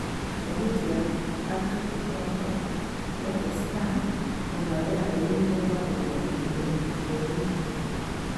Ngathĩti ya Patrick Quarcoo ya The Star o nayo yaambĩrĩirie kwandĩkwo ihinda-inĩ o rĩu.